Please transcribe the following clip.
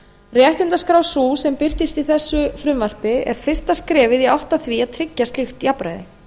réttindaskrá sú sem birtist í þessu frumvarpi er fyrsta skrefið í átt að því tryggja slíkt jafnræði